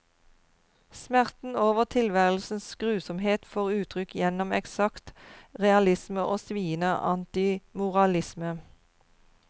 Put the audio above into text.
Smerten over tilværelsens grusomhet får uttrykk gjennom eksakt realisme og sviende antimoralisme.